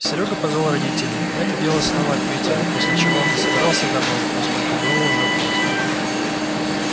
серёга позвал родителей мы это дело снова отметили после чего он засобирался домой поскольку было уже поздно